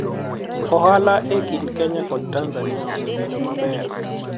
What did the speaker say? ohala e kind Kenya kod Tanzania osebedo maber